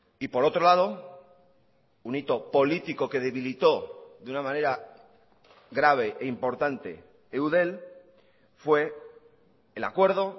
y por otro lado un hito político que debilitó de una manera grave e importante eudel fue el acuerdo